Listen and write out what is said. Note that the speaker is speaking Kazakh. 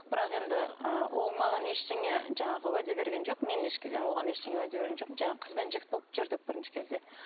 бірақ енді ы ол маған ештеңе жаңағы уәде берген жоқ мен і оған ештеңе уәде берген жоқпын жаңағы қыз бен жігіт болып жүрдік бірінші кезде